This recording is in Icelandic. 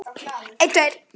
Heitir hann Bill?